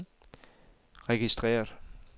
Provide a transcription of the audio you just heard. registreret